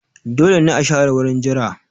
Dole ne a share wurin jira